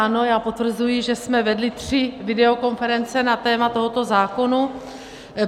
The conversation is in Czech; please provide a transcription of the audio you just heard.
Ano, já potvrzuji, že jsme vedli tři videokonference na téma tohoto zákona.